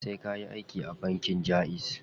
Sai kayi aiki a bankin jaiz.